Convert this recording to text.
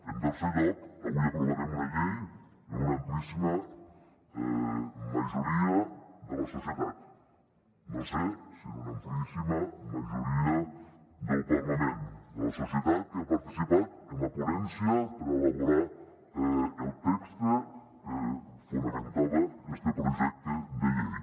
en tercer lloc avui aprovarem una llei amb una amplíssima majoria de la societat no sé si amb una amplíssima majoria del parlament que ha participat en la ponència per elaborar el text que fonamentava este projecte de llei